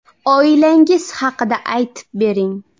Oilangiz haqida aytib bering?